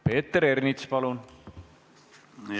Peeter Ernits, palun!